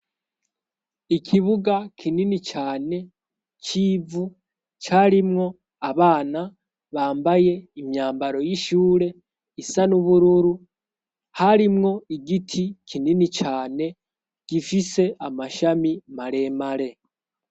Ikibuga kinini cane c'ivu carimwo abana bambaye imyambaro y'ishure isa n'ubururu harimwo igiti kinini cane gifise amashami maremare.